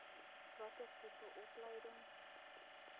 watter tipe opleiding